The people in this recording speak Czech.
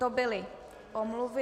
To byly omluvy.